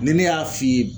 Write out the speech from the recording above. Ni ne y'a f'i ye